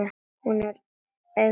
Hún er einmitt slík stelpa.